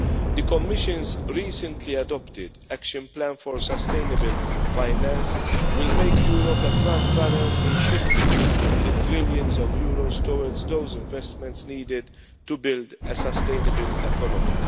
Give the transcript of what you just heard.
for. The Commission's recently adopted action plan for sustainable finance will make Europe a frontrunner in shifting trillions of euros towards those investments needed to build a sustainable economy.